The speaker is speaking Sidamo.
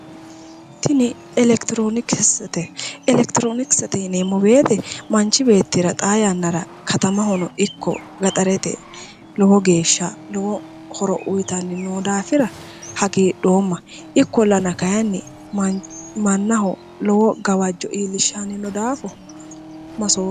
Tini Elekitirinokisete ,elekitironokisete yinneemmo woyte manchi beettira xaa yannara katamahono ikko gaxarete lowo geeshsha lowo horo uyittanni noo daafira hagiidhoomma ikkollanna kayinni mannaho lowo gawajo iillishshani no daafo masomma".